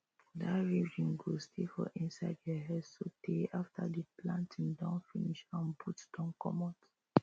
that rhythm go stay for inside your head so tey after the planting don finish and boots don comot